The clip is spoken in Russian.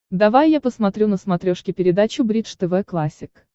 давай я посмотрю на смотрешке передачу бридж тв классик